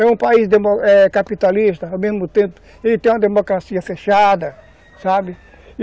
É um país capitalista, ao mesmo tempo, ele tem uma democracia fechada, sabe?